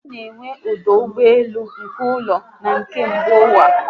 Ana enwe ọdụ ụgbọelu nke ụlọ na na nke mba ụwa